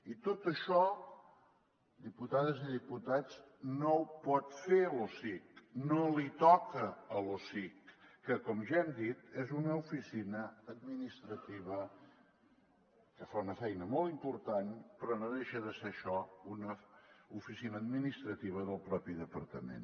i tot això diputades i diputats no ho pot fer l’osic no li toca a l’osic que com ja hem dit és una oficina administrativa que fa una feina molt important però no deixa de ser això una oficina administrativa del propi departament